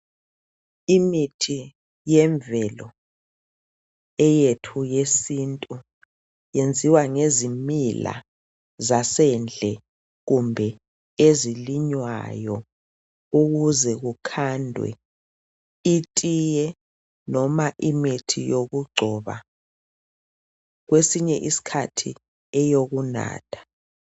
Imithi yemvelo , eyethu yesintu yenziwa ngezimila zasendle kumbe ezilinywayo ukuze kukhandwe itiye noma imithi yokugcoba kwesinye iskhathi eyokunatha